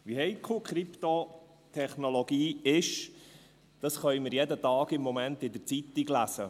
Wie heikel Krypto-Technologie ist, können wir im Moment jeden Tag in der Zeitung lesen.